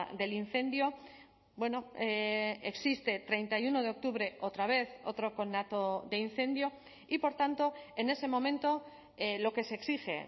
del incendio bueno existe treinta y uno de octubre otra vez otro conato de incendio y por tanto en ese momento lo que se exige